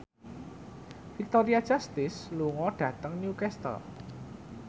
Victoria Justice lunga dhateng Newcastle